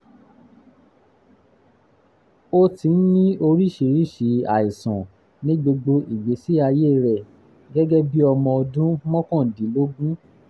ó ti ń ní oríṣiríṣi àìsàn ní gbogbo ìgbésí ayé rẹ̀ gẹ́gẹ́ bí ọmọ ọdún mọ́kàndínlógún